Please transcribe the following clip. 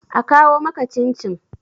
a kawo maka cin-cin!